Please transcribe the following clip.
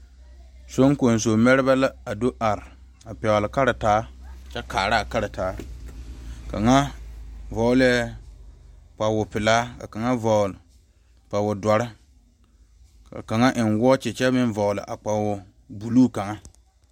sonkonso meɛrebɛ la a do are a pegeli karataa kyɛ kaara a karataa kaŋa vɔgeli la zupili pelaa ka kaŋa vɔgeli zupile doɔre ka kaŋ eŋe wɔɔkye kyɛ meŋ vɔgeli zupili buluu kaŋa